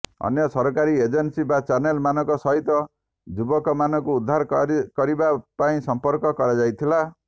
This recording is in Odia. ଅନ୍ୟ ସରକାରୀ ଏଜେନ୍ସି ଓ ଚାନେଲ୍ ମାନଙ୍କ ସହିତ ଯୁବକମାନଙ୍କୁ ଉଦ୍ଧାର କରିବା ପାଇଁ ସଂପର୍କ କରାଯାଇଥିଲା